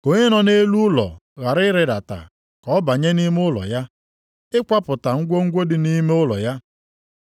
Ka onye nọ nʼelu ụlọ ghara ịrịdata ka ọ banye nʼime ụlọ ya, ịkwapụta ngwongwo dị nʼime ụlọ ya.